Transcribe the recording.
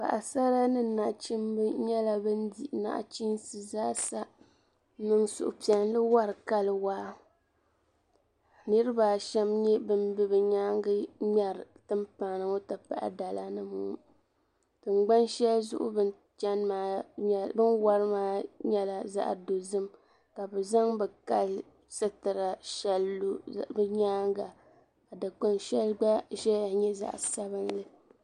Paɣi sara ni nachimbi nyɛla ban di naɣ' chinsi zaa sa, n niŋ suhupiɛli n wari kali waa, niribi asham n nyɛ ban be bɛ nyaaŋa n ŋmeri tinpana ŋɔ. n ti pahi dala nim ŋɔ, tiŋ gban shɛli zuɣu bɛ n. wari maa nyɛla zaɣi dozim ka bɛ zaŋ bɛ kali sitira zaŋ lɔ binyaaŋ, ka dikpuni shɛli gba ʒɛya. n nyɛ zaɣi sabinlli